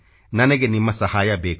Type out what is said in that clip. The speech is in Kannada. ನನಗೆ ನಿಮ್ಮ ಸಹಾಯ ಬೇಕು